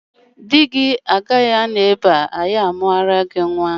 Di gị agaghị anọ ebe a anyị amụọrọ gị nnwa!